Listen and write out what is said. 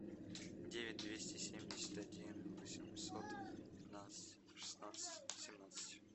девять двести семьдесят один восемьсот пятнадцать шестнадцать семнадцать